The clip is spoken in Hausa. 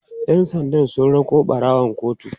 ƴan sanda sun rako ɓarawon kotu